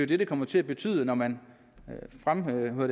det det kommer til at betyde når man fremrykker